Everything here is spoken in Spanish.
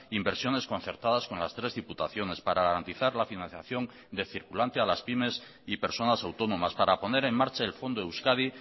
inversiones concertadas con las tres diputaciones para garantizar la financiación de circulante a las pymes y personas autónomas para poner en marcha el fondo euskadi